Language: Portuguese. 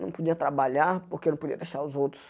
Não podia trabalhar, porque eu não podia deixar os outros.